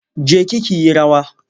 Je ki ki yi rawa!